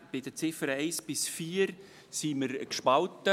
Bei den Ziffern 1 bis 4 sind wir gespalten.